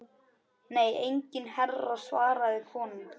Nei enginn herra svaraði konan.